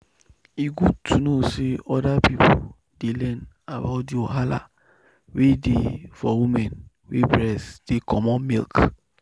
e good to know say other people dey learn about the wahala wey dey for women wey breast dey comot milk.